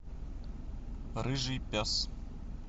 рыжий пес